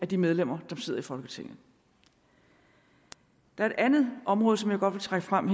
de medlemmer der sidder i folketinget der er et andet område som jeg godt vil trække frem